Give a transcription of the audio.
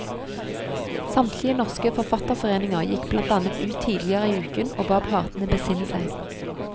Samtlige norske forfatterforeninger gikk blant annet ut tidligere i uken og ba partene besinne seg.